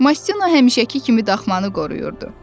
Mastino həmişəki kimi daxmanı qoruyurdu.